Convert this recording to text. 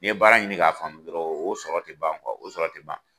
N'i ye baara ɲini k'a faamu dɔrɔnw , o sɔrɔ tɛ ban kuwa, o sɔrɔ tɛ ban.